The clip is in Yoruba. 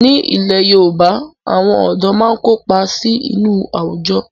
Ní ilẹ̀ Yorùbá, àwọn ọ̀dọ́ máa ń kópa sí inú àwùjọ